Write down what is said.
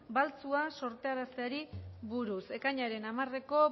baltzua sorrarazteari buruzko ekainaren hamareko